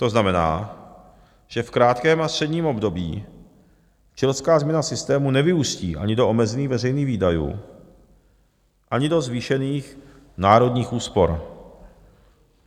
To znamená, že v krátkém a středním období chilská změna systému nevyústí ani do omezených veřejných výdajů, ani do zvýšených národních úspor.